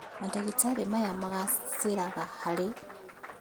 Mandagĩtarĩ maya magacĩraga harĩ